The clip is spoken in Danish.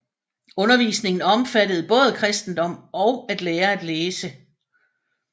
Undervisningen omfattede både kristendom og at lære at læse